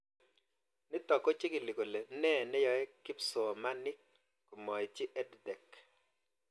Nitok ko chikili kole nee neyae kipsomanik komaitchi EdTech